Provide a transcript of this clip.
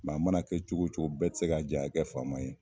Nka a mana kɛ cogo cogo bɛɛ tɛ se ka jɛ ka kɛ faama ye.